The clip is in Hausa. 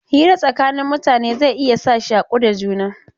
Hira tsakanin mutane zai iya sa shaku da juna.